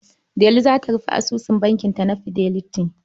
Delu za ta rufe asusun bankinta na Fidelity.